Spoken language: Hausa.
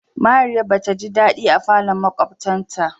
Mariya ba taji dadi a falon makwabtan ta.